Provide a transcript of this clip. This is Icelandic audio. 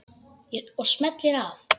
Og smellir af.